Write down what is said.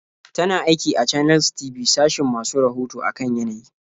Tana aiki a Channels TV sashin masu rahoto a kan yanayi.